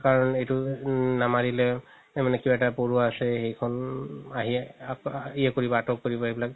কাৰণ এইটো নামাৰিলে মানে কিবা এটা পৰুৱা আছে সেইখন আহি আতক কৰিব সেইবিলাক